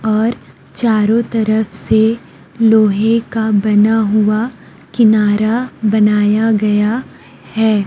और चारों तरफ से लोहे का बना हुआ किनारा बनाया गया है।